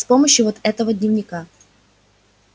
с помощью вот этого дневника